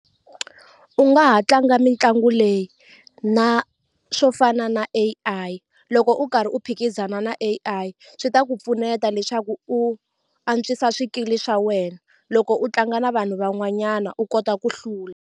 U nga ha tlanga mitlangu leyi na swo fana na A_I loko u karhi u phikizana na A_I swi ta ku pfuneta leswaku u antswisa swikili swa wena loko u tlanga na vanhu van'wanyana u kota ku hlula.